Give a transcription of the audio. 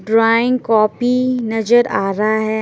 Drawing copy नज़र आ रहा है।